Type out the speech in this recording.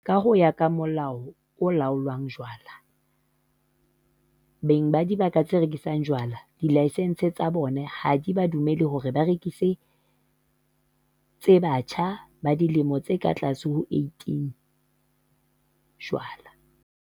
Ka ho ya ka Molao o Laolang Jwala, beng ba dibaka tse rekisang jwala dilaesense tsa bona ha di ba dumelle ho rekisetsa batjha ba dilemo di ka tlase ho tse 18 jwala.